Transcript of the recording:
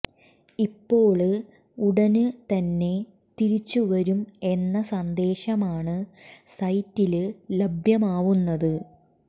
ഇപ്പോള് ഉടന് തന്നെ തിരിച്ചു വരും എന്ന സന്ദേശമാണ് സൈറ്റില് ലഭ്യമാവുന്നത്